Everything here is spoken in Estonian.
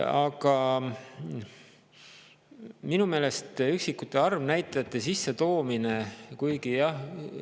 Aga minu meelest üksikute arvnäitajate sissetoomine.